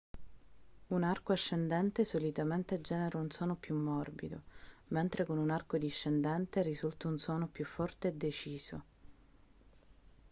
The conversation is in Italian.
un arco ascendente solitamente genera un suono più morbido mentre con un arco discendente risulta un suono più forte e deciso